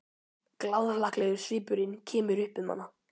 Glaðhlakkalegur svipurinn kemur upp um hana.